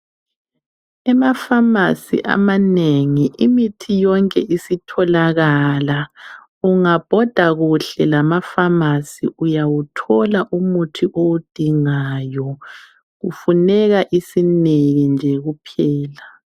Emafamasi amanengi imithi yonke isitholakala, ungabhoda kuhle lamafamasi uyawuthola umuthi owudingayo kufuneka isibindi kuphela.